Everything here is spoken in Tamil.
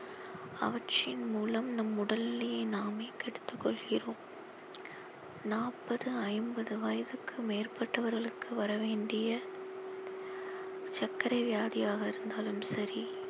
அவற்றின் மூலம் நம் உடல் நிலையை நாமே கெடுத்துக் கொள்கிறோம் நாப்பது ஐம்பது வயதுக்கு மேற்பட்டவர்களுக்கு வரவேண்டிய சர்க்கரை வியாதியாக இருந்தாலும் சரி